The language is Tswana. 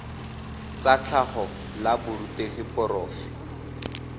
tsa tlhago la borutegi porofe